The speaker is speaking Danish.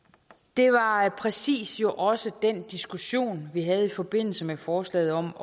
det var præcis jo også den diskussion vi havde i forbindelse med forslaget om